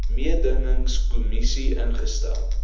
mededingings kommissie ingestel